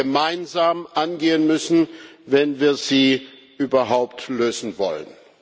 gemeinsam angehen müssen, wenn wir sie überhaupt lösen wollen.